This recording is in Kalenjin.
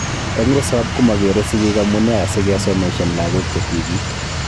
Eng risop komokeree sigiik amunee asikesomeshan lagok che tibiik